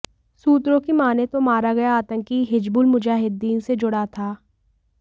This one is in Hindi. सूत्रों की मानें तो मारा गया आतंकी हिजबुल मुजाहिद्दीन से जुड़ा था